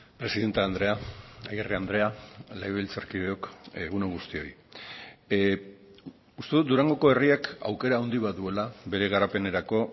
presidente andrea agirre andrea legebiltzarkideok egun on guztioi uste dut durangoko herriak aukera handi bat duela bere garapenerako